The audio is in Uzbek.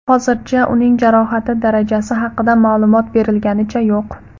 Hozircha uning jarohati darajasi haqida ma’lumot berilganicha yo‘q.